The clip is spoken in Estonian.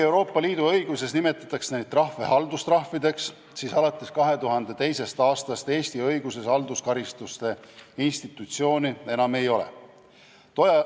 Euroopa Liidu õiguses nimetatakse neid trahve haldustrahvideks, kuid alates 2002. aastast Eesti õiguses halduskaristuste institutsiooni enam ei ole.